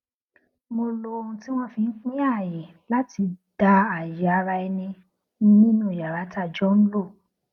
mo lo ohun tí wọn fi n pín ààyè láti dá ààyè araẹni nínú yàrá tá a jọ ń lò